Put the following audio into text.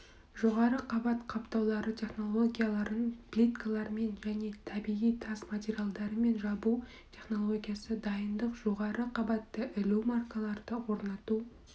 жоғары қабат қаптаулары технологияларын плиткалармен және табиғи тас материалдарымен жабу технологиясы дайындық жоғары қабатты ілу маркаларды орнату